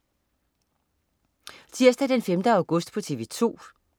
Tirsdag den 5. august - TV 2: